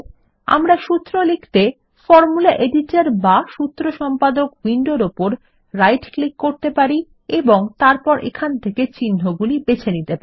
আমরা সূত্র লিখতে ফরমুলা এডিটর বা সুত্র সম্পাদক উইন্ডোর উপর রাইট ক্লিক করতে পারি এবং তারপর এখান থেকে চিন্হগুলি বেছে নিতে পারি